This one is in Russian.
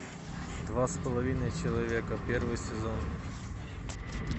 два с половиной человека первый сезон